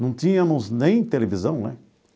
Não tínhamos nem televisão né.